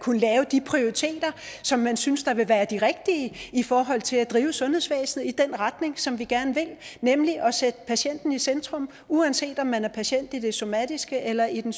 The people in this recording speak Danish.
kunne lave de prioriteringer som man synes vil være de rigtige i forhold til at drive sundhedsvæsenet i den retning som vi gerne vil nemlig at sætte patienten i centrum uanset om man er patient i den somatiske eller i den